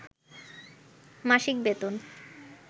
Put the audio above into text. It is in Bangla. মাসিক বেতন